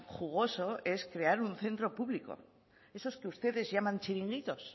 jugoso es crear un centro público esos que ustedes llaman chiringuitos